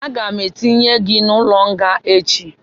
Aga m etinye gị n'ụlọ nga echi